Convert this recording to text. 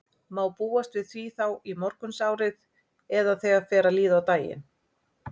Má búast við því þá í morgunsárið eða þegar fer að líða á daginn?